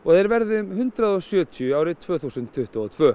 þeir verði um hundrað og sjötíu árið tvö þúsund tuttugu og tvö